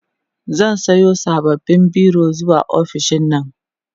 zan Sayo sababbin biro zuwa ofishinnan